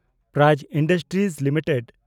prize industries limited